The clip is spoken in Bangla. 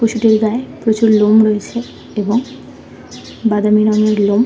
পশুদের গায়ে প্রচুর লোম রয়েছে এবং বাদামি রঙের লোম।